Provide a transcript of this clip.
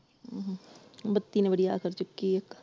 ਬੱਤੀ ਨੇ ਬੜੀ ਅੱਤ ਚੁਕੀ ਇਕ ।